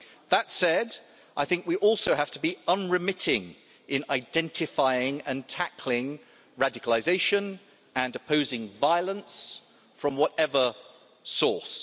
That said, we also have to be unremitting in identifying and tackling radicalisation and opposing violence from whatever source.